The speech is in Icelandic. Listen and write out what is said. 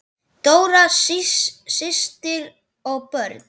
Dóra systir og börn.